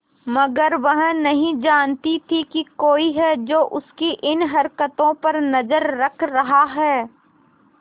मगर वह नहीं जानती थी कोई है जो उसकी इन हरकतों पर नजर रख रहा है